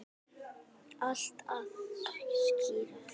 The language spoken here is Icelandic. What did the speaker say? Allt að skýrast